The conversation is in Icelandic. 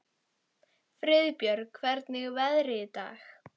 Friðbjörg, hvernig er veðrið í dag?